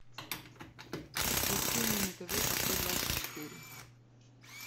включи мне на тв авто двадцать четыре